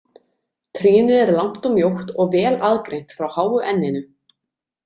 Trýnið er langt og mjótt og vel aðgreint frá háu enninu.